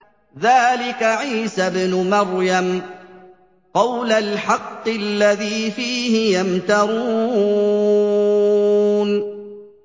ذَٰلِكَ عِيسَى ابْنُ مَرْيَمَ ۚ قَوْلَ الْحَقِّ الَّذِي فِيهِ يَمْتَرُونَ